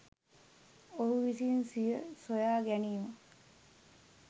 ඔහු විසින් සිය සොයාගැනීම